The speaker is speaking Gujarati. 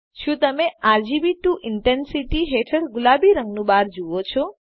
શું તમે આરજીબી ટીઓ ઇન્ટેન્સિટી હેઠળ ગુલાબી રંગ નું બાર જુઓ છો